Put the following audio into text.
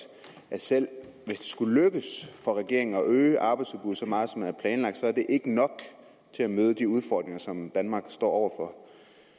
selv hvis det skulle lykkes for regeringen at øge arbejdsudbuddet så meget som man har planlagt så er det ikke nok til at møde de udfordringer som danmark står over for